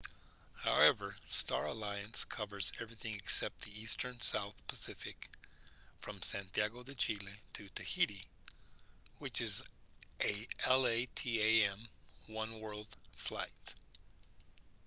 however star alliance covers everything except the eastern south pacific from santiago de chile to tahiti which is a latam oneworld flight